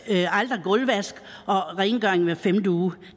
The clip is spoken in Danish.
der aldrig er gulvvask og rengøring hver femte uge